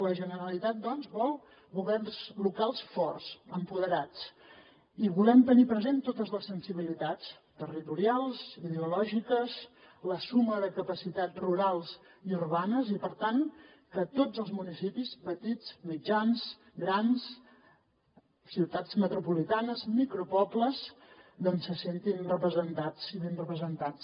la generalitat doncs vol governs locals forts empoderats i volem tenir presents totes les sensibilitats territorials ideològiques la suma de capacitat rurals i urbanes i per tant que tots els municipis petits mitjans i grans ciutats metropolitanes micropobles doncs se sentin representats i ben representats